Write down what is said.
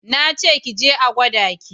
Na ce ki je a gwada ki!